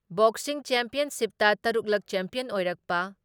boxing ꯆꯦꯝꯄꯤꯌꯟꯁꯤꯞꯇ ꯇꯔꯨꯛ ꯂꯛ ꯆꯦꯄꯤꯌꯟ ꯑꯣꯏꯔꯛꯄ